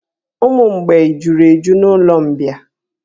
Ụmụ mgbei juru eju na'ụlọ mbịà.